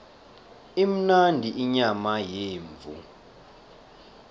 imnandi inyama yemvu